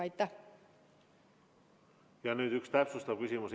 Ja nüüd üks täpsustav küsimus.